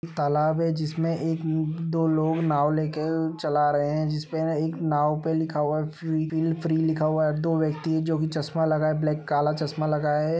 तालाब है जिसमे एक दो लोग नाव लेके चला रहे हैं। जिसमे है एक नाव पे लिखा हुआ है फ्री बिल फ्री लिखा हुआ है। दो व्यक्ति जोकि चश्मा लगाए ब्लैक काला चश्मा लगाए --